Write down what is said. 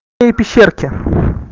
эй пещерки